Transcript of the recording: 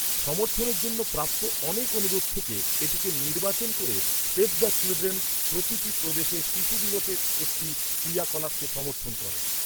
সমর্থনের জন্য প্রাপ্ত অনেক অনুরোধ থেকে এটিকে নির্বাচন করে সেভ দ্য চিলড্রেন প্রতিটি প্রদেশে শিশু দিবসের একটি ক্রিয়াকলাপকে সমর্থন করে।